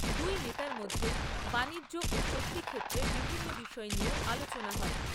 দুই নেতার মধ্যে বাণিজ্য ও শক্তি ক্ষেত্রে বিভিন্ন বিষয় নিয়েও আলোচনা হয়।